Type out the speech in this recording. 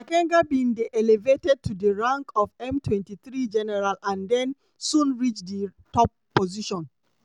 makenga bin dey elevated to di rank of m23 general and den soon reach di top position.